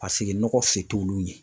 Paseke nɔgɔ se t'olu ɲɛ.